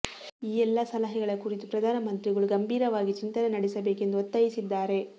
ಈ ಎಲ್ಲಾ ಸಲಹೆಗಳ ಕುರಿತು ಪ್ರಧಾನಮಂತ್ರಿಗಳು ಗಂಭೀರವಾಗಿ ಚಿಂತನೆ ನಡೆಸಬೇಕೆಂದು ಒತ್ತಾಯಿಸಿದ್ದಾರೆ